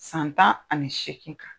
San tan ani seekin